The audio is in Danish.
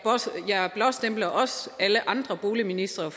blåstempler også alle andre boligministre